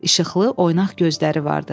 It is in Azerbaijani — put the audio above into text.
İşıqlı, oynaq gözləri vardı.